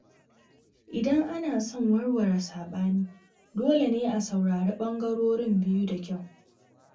Idan ana son warware saɓani, dole ne a saurari ɓangarorin biyu da kyau.